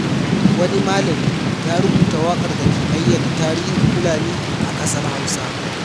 Wani malami ya rubuta waƙar da ke bayyana tarihin Fulani a ƙasar Hausa.